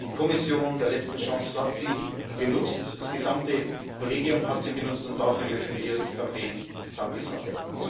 Die Kommission der letzten Chance hat sie genutzt, das gesamte Kollegium hat sie genutzt, und dafür möchten wir als EVP Danke sagen.